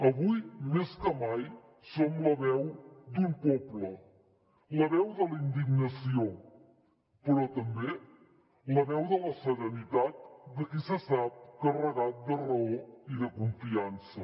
avui més que mai som la veu d’un poble la veu de la indignació però també la veu de la serenitat de qui se sap carregat de raó i de confiança